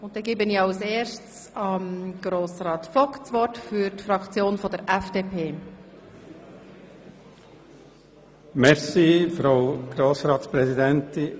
Wir sind in der gemeinsamen Beratung der drei Postulate aus den Traktanden 22, 23 und 24.